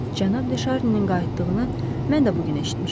Cənab De Şarninin qayıtdığını mən də bu gün eşitmişəm.